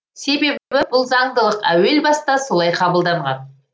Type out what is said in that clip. себебі бұл заңдылық әуелбаста солай қабылданған